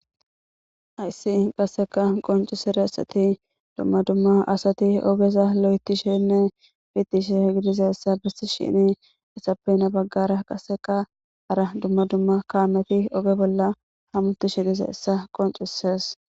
Hays qaseka qoncidatsat dumma dumma asat ogeza lo'ethishene piteshe gidizaysa besishn hen bagara qaseka hara dumma dumma kamet oge bolla hamutishe dizaysa qoncises.